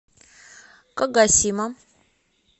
кагосима